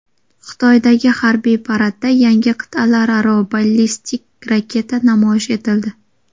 Xitoydagi harbiy paradda yangi qit’alararo ballistik raketa namoyish etildi.